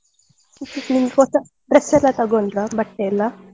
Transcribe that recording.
ನೀವು ಇವಾಗ fresh ಆಗಿ ತೊಕೊಂಡ್ರ dress ಎಲ್ಲಾ.